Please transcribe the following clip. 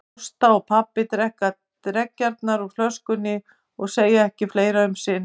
Ásta og pabbi drekka dreggjarnar úr flöskunni og segja ekki fleira um sinn.